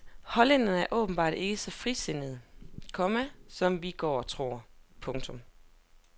Hollænderne er åbenbart ikke så frisindede, komma som vi går og tror. punktum